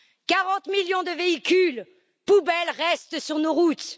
40 millions de véhicules poubelles restent sur nos routes.